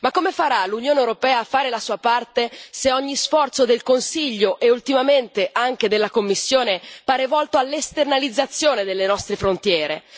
Ma come farà l'Unione europea a fare la sua parte se ogni sforzo del Consiglio, e ultimamente anche della Commissione, pare volto all'esternalizzazione delle nostre frontiere?